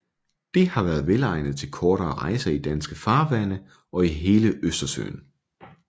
Det har været velegnet til kortere rejser i danske farvande og i hele Østersøen